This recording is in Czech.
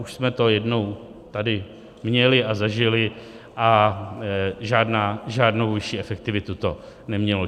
Už jsme to jednou tady měli a zažili a žádnou vyšší efektivitu to nemělo.